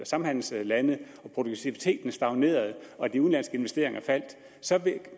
samhandelslande og produktiviteten stagnerede og de udenlandske investeringer faldt så